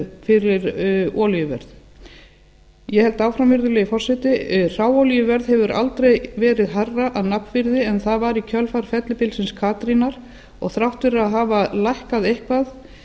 fyrir olíuverð ég held áfram virðulegi forseti hráolíuverð hefur aldrei verið hærra að nafnvirði en það var í kjölfar fellibylsins katrínar og þrátt fyrir að hafa lækkað eitthvað